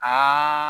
Aa